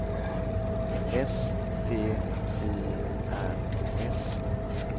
S T Y R S